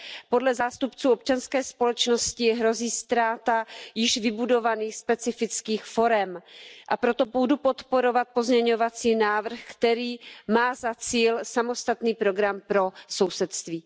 Podle zástupců občanské společnosti hrozí ztráta již vybudovaných specifických forem, a proto budu podporovat pozměňovací návrh, který má za cíl samostatný program pro sousedství.